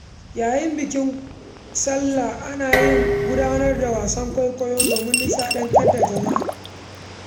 Yayin bikin Sallah, ana gudanar da wasan kwaikwayo domin nishadantar da jama’a.